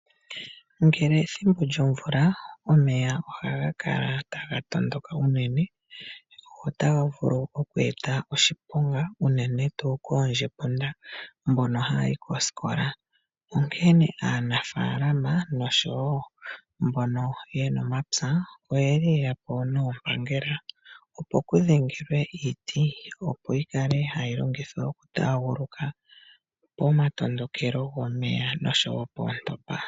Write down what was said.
Ngele ethimbo lyomvula omeya ohaga kala taga tondoka unene notaga vulu okweeta oshiponga unene tuu koondjepunda mbono haya yi koosikola. Onkene aanafaalama noshowo mbono yena omapya oyeli yeya po noompangela opo pudhengelwe iiti opo yi kale hayi longithwa okutaaguluka pomatondokelo gomeya noshowo poontopa.